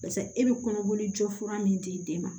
Pase e bɛ kɔnɔboli jɔ fura min di den ma